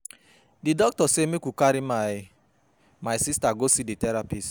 Di doctor sey make we carry my my sista go see di therapist.